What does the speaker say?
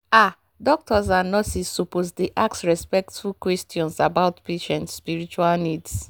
ah doctors and nurses suppose dey ask respectful questions about patient spiritual needs.